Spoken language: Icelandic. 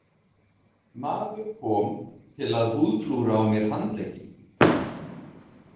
Maður kom til að húðflúra á mér handlegginn.